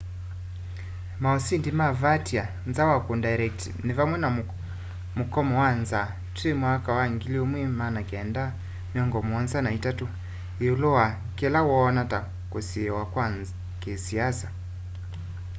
mosindi ma vautier nza wa kundairect ni vamwe na mukomo wa nzaa twi 1973 iulu wa kila woona ta kusiiwa kwa kisiasa